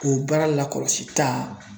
O baara lakɔlɔsita